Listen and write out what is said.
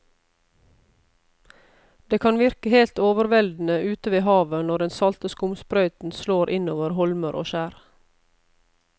Det kan virke helt overveldende ute ved havet når den salte skumsprøyten slår innover holmer og skjær.